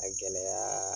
A gɛlɛya